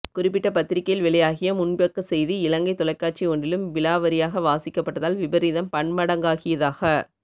குறிப்பிட்ட பத்திரிகையில் வெளியாகிய முன்பக்க செய்தி இலங்கைத் தொலைக்காட்சி ஒன்றிலும் விலாவரியாக வாசிக்கப்பட்டதால் விபரீதம் பன்மடங்காகியதாக